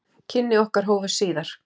Kynni okkar hófust síðar.